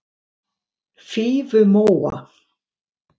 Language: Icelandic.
Fífumóa